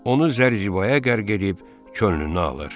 Onu zər-zibaya qərq edib könlünü alır.